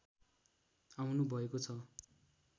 आउनु भएको छ